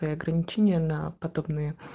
аа ограничение на подобные